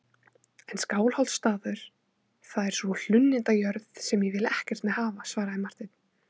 En Skálholtsstaður, það er sú hlunnindajörð sem ég vil ekkert með hafa, svaraði Marteinn.